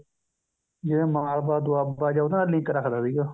ਜਿਵੇਂ ਮਾਲਵਾ ਦੁਆਬਾ ਜਾਂ ਉਹਦੇ ਨਾਲ link ਰੱਖਦਾ ਸੀਗਾ